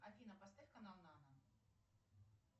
афина поставь канал нано